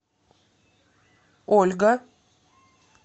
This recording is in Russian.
ольга